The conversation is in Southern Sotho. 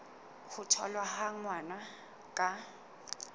ho tholwa ha ngwana ka